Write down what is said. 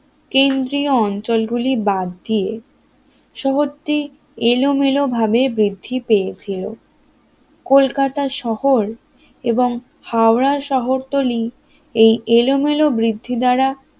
কেন্দ্রীয় অঞ্চলগুলি বাদ দিয়ে শহরটি এলোমেলো ভাবে বৃদ্ধি পেয়েছিল কলকাতা শহর এবং হাওড়া শহরতলী এই এলোমেলো বৃদ্ধি দ্বারা